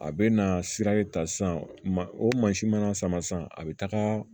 A bɛ na sira de ta sisan o mansin mana sama sisan a bɛ taga